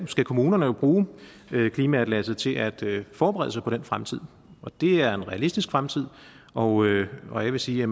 kommunerne jo bruge klimaatlasset til at forberede sig på den fremtid og det er en realistisk fremtid og og jeg vil sige